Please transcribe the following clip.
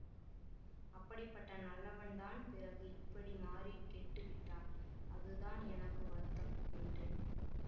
அப்படிப்பட்ட நல்லவன்தான் பிறகு இப்படி மாறி கெட்டு விட்டான் அதுதான் எனக்கு வருத்தம் என்றேன்